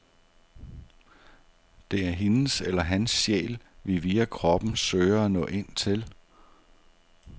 Det er hendes eller hans sjæl, vi via kroppen søger at nå ind til.